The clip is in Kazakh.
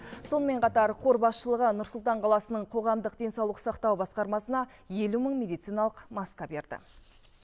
сонымен қатар қор басшылығы нұр сұлтан қаласының қоғамдық денсаулық сақтау басқармасына елу мың медициналық маска берді